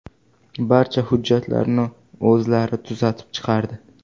Barcha hujjatlarni o‘zlari tuzatib chiqardi.